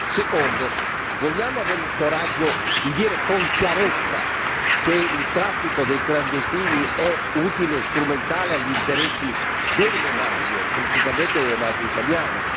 Secondo vogliamo avere il coraggio di dire con chiarezza che il traffico dei clandestini è utile e strumentale agli interessi delle mafie, principalmente delle mafie italiane?